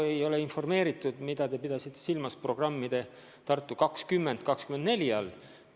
Ma ei ole informeeritud, mida te pidasite silmas programmi "Tartu 20/24 all".